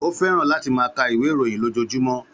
Ó fẹ́ràn láti máa ka ìwé ìròyìn lójoojúmọ́